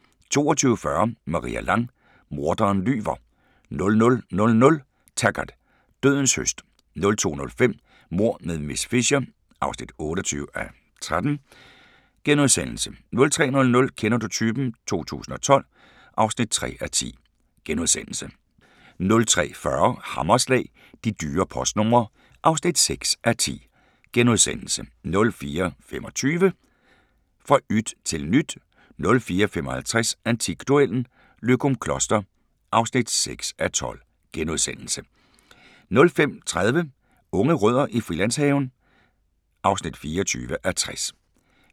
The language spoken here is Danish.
22:40: Maria Lang: Morderen lyver 00:00: Taggart: Dødens høst 02:05: Mord med miss Fisher (28:13)* 03:00: Kender du typen? 2012 (3:10)* 03:40: Hammerslag – De dyre postnumre (6:10)* 04:25: Fra yt til nyt 04:55: Antikduellen - Løgumkloster (6:12)* 05:30: Unge rødder i Frilandshaven (24:60)